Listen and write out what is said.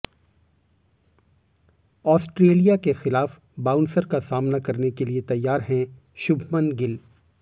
Australia के खिलाफ bouncer का सामना करने के लिए तैयार हैं शुभमन गिल